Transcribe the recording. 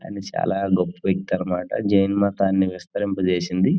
చానా గొప్ప వ్యక్తి అన్నమాట. జేన్ మతాన్ని విస్తరింప చేసింది.